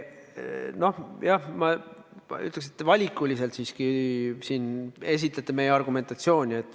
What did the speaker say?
Noh, ma ütleks, et te esitlete siin meie argumentatsiooni valikuliselt.